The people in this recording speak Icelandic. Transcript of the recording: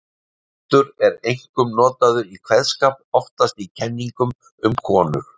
Haddur er einkum notað í kveðskap, oftast í kenningum um konur.